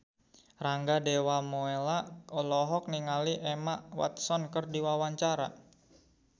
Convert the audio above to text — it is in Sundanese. Rangga Dewamoela olohok ningali Emma Watson keur diwawancara